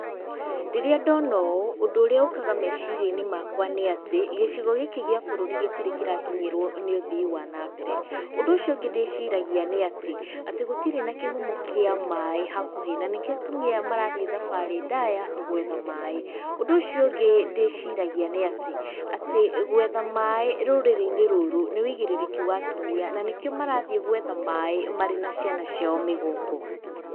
Rĩrĩa ndono ũũ, ũndũ ũrĩa ũkaga meciria-inĩ makwa nĩ atĩ gĩcigo gĩkĩ gĩa bũrũri gĩtirĩ kĩrakinyĩrwo nĩ ũthii wa nambere. Ũndũ ũcio ũngĩ ndĩciragia nĩatĩ, atĩ gũtirĩ na kĩhumo kĩa maaĩ hakuhĩ na nĩkĩo atumia aya marathiĩ thabarĩ ndaya gwetha maaĩ. Ũndũ ũcio ũngĩ ndĩciragia nĩatĩ, atĩ gwetha maaĩ rũrĩrĩ-inĩ rũrũ nĩ wĩigĩrĩrĩki wa atumia nanĩkĩo marathiĩ gwetha maaĩ marĩ na ciana ciao mĩgongo.